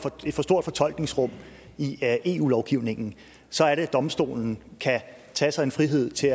for stort fortolkningsrum i eu lovgivningen så er det at domstolen kan tage sig en frihed til